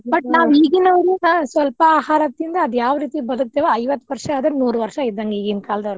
But ನಾವ್ ಈಗಿನಾವ್ರು ಹಾ ಸ್ವಲ್ಪ ಆಹಾರ ತಿಂದ್ ಅದ್ಯಾವ್ ರೀತಿ ಬದಕ್ತೇವೋ ಐವತ್ತ್ ವರ್ಷಾ ಆದ್ರ ನೂರ್ ವರ್ಷಾ ಇದ್ದಂಗ ಈಗಿನ ಕಾಲ್ದಾವ್ರಗ.